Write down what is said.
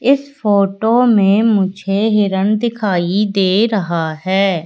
इस फोटो में मुझे हिरण दिखाई दे रहा है।